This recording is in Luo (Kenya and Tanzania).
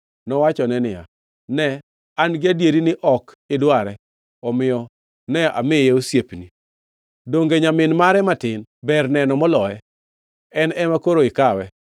Nowachone niya, “Ne an-gi adieri ni ok idware, omiyo ne amiye osiepni. Donge nyamin mare matin ber neno moloye? En ema koro ikawe.”